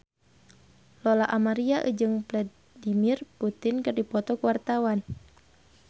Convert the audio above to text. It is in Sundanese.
Lola Amaria jeung Vladimir Putin keur dipoto ku wartawan